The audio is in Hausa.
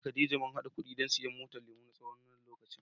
Ni da Khadijah mun hada kuɗi don siyan motar lemu, na tsawon wannan lokacin.